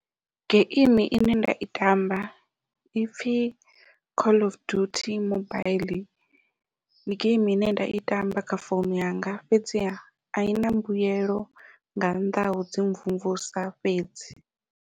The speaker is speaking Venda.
Geimi ine nda i tamba ipfhi call of duty mobaiḽi ndi geimi ine nda i tamba kha founu yanga fhedziha ai na mbuyelo nga nnḓa hau dzi mvumvusa fhedzi.